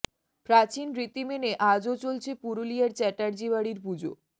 প্রাচীন রীতি মেনে আজও চলছে পুরুলিয়ার চ্যাটার্জি বাড়ির পুজো